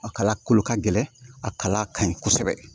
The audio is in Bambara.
A kala kolo ka gɛlɛn a kala ka ɲi kosɛbɛ